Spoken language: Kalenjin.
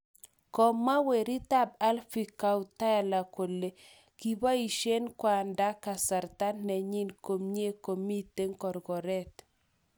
Komwa weritap Abhay Chautala kole kipoisien kwanda kasarta nenyin komie komiten korkoret